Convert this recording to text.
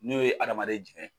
N'o ye hadamaden jigɛn